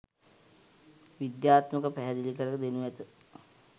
විද්‍යාත්මකව පැහැදිලි කර දෙනු ඇත.